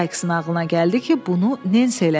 Sayksın ağlına gəldi ki, bunu Nensi eləsin.